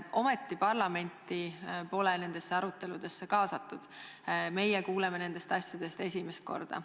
Aga parlamenti pole nendesse aruteludesse kaasatud, meie kuuleme nendest asjadest nüüd esimest korda.